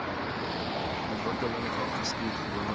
ontwikkeling geskied gewoonlik